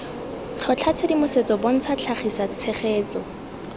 tlhotlha tshedimosetso bontsha tlhagisa tshegetso